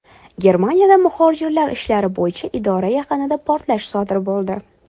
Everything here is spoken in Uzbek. Germaniyada muhojirlar ishlari bo‘yicha idora yaqinida portlash sodir bo‘ldi.